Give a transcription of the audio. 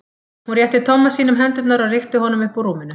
Hún rétti Tomma sínum hendurnar og rykkti honum upp úr rúminu.